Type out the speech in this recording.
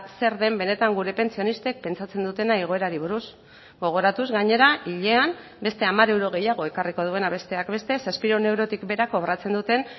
zer den benetan gure pentsionistek pentsatzen dutena igoerari buruz gogoratuz gainera hilean beste hamar euro gehiago ekarriko duena besteak beste zazpiehun eurotik behera kobratzen duten